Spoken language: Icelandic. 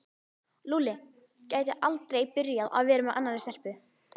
Lúlli gæti aldrei byrjað að vera með annarri stelpu.